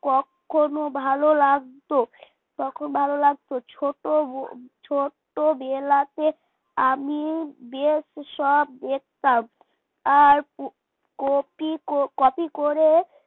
কখনো ভালো লাগতো ভালো লাগতো ছোট ছোটবেলাতে আমি বেস সব দেখতাম। আর কপি কপি copy copy করে